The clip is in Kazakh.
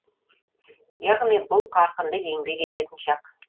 яғни бұл қарқынды еңбек ететін шақ